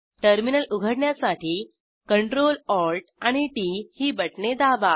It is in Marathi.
टर्मिनल उघडण्यासाठी Ctrl Alt आणि टीटी ही बटणे दाबा